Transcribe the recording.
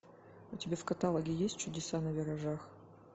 у тебя в каталоге есть чудеса на виражах